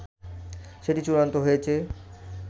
সেটি চূড়ান্ত হয়েছে